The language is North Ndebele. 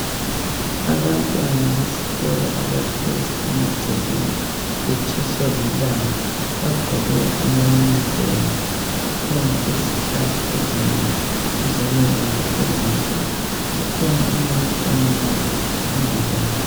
abantwana besikolo abahlezi emacekeni betshiswa lilanga bagqoke ama yunifonu kukhona izihlahla ezinengi duzane kwabo ezinkulu kukhona umuntu omileyo phambili kwabo